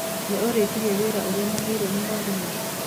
Nĩũrĩkirie wĩra ũrĩa mũheirwo nĩ mwarimũ?